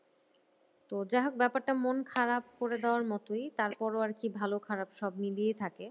তো যাহোক ব্যাপারটা মন খারাপ করে দেওয়ার মতোই তারপরও আরকি ভালো খারাপ সব মিলিয়ে থাকে।